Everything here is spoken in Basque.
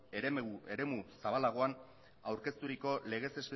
eremu zabalagoan aurkezturiko legez